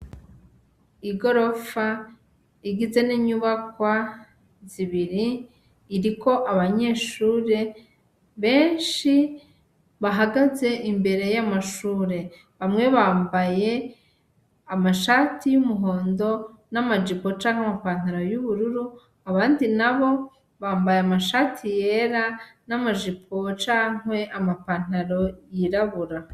Igorofa igizwe n'inyubakwa zibiri iriko abanyeshure benshi bahagaze imbere yamashure bamwe bambaye amashati yumuhondo n'amajipo canke amapantaro yubururu abandi nabo bambaye amashati yera n'amajipo cankwe amapantaro yirabura.